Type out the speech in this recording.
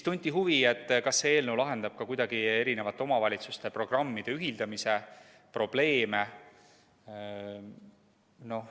Tunti huvi, kas see eelnõu lahendab ka kuidagi eri omavalitsuste programmide ühildamise probleeme.